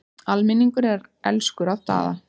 Almenningur er elskur að Daða.